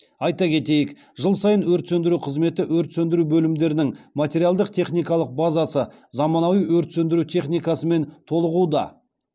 айта кетейік жыл сайын өрт сөндіру қызметі өрт сөндіру бөлімдерінің материалдық техникалық базасы заманауи өрт сөндіру техникасымен толығуда